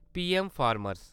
PM-farmer